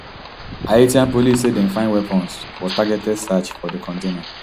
haitian police say dem find weapons for targeted search of di container